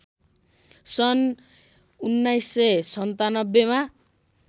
सन् १९९७मा